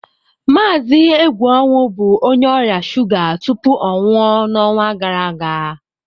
Mazị Egwuonwu bụ onye ọrịa shuga tupu ọ nwụọ n'ọnwa gara aga.